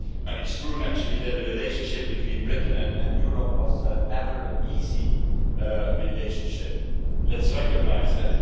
It is true, naturally, that the relationship between Britain and Europe was never an easy relationship, let us recognise that.